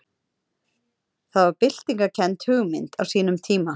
Það var byltingarkennd hugmynd á sínum tíma.